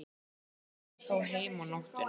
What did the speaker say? Þeir koma þó heim á nóttunni.